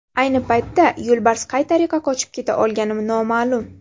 Ayni paytda yo‘lbars qay tariqa qochib keta olgani noma’lum.